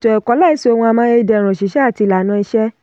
ètò ẹ̀kọ́ láìsí ohun amáyédẹrùn òṣìṣẹ́ àti ìlànà ìṣe.